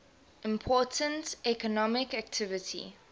important economic activity